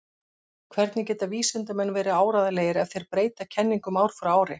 Hvernig geta vísindamenn verið áreiðanlegir ef þeir breyta kenningum ár frá ári?